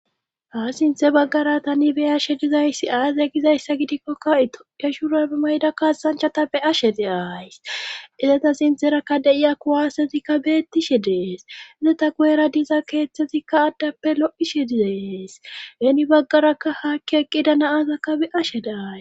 Ha sinthe baggara tani beyashe dizayssi aaze gizayssa gidikkokka itoya shurabe mayda kaasanchata be ashe deays izata sintherakka deiya kuwasezikka beettishe dees izeta goeera diza keeththetikka addappe lo7ishe dizees heeni baggarakka haakki eqqida naazakka be ashe de'ay.